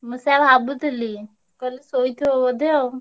ମୁଁ ସେୟା ଭାବୁଥିଲି ମୁଁ କହିଲି ଶୋଇଥିବ ବୋଧେ ଆଉ।